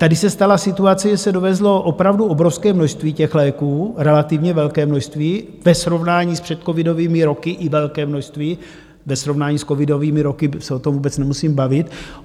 Tady se stala situace, že se dovezlo opravdu obrovské množství těch léků, relativně velké množství ve srovnání s předcovidovými roky i velké množství ve srovnání s covidovými roky, o tom se vůbec nemusím bavit.